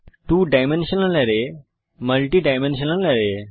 two dimensional array এবং multi dimensional আরায়